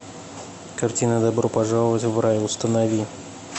картина добро пожаловать в рай установи